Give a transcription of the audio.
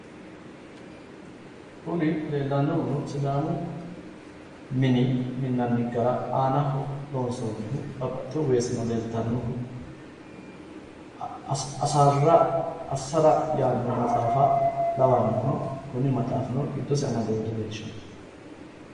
Kuni leellannohuno sidaamu mini minnanni gara aanaho loonsoonnihu babbaxitewo weeseno leeltannohu assara yaanno maxaafa lawannohu. Kuni maxaafino giddosi amadewoore dileellishanno.